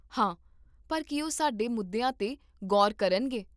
ਹਾਂ, ਪਰ ਕੀ ਉਹ ਸਾਡੇ ਮੁੱਦੀਆਂ 'ਤੇ ਗੌਰ ਕਰਨਗੇ?